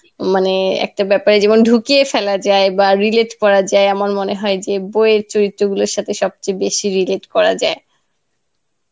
মানে একটা ব্যাপারে যেমন ঢুকিয়ে ফেলা যায় বা relate করা যায় আমার মনে হয় যে বইয়ের চরিত্রগুলোর সাথে সবচেয়ে বেশী relate করা যায়.